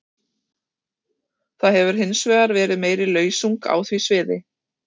Það hefur hins vegar verið meiri lausung á því sviði.